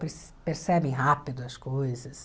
Perc percebem rápido as coisas.